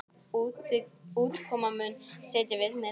Útkoman muni setja viðmið.